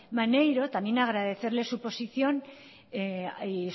maneiro también agradecerle su posición y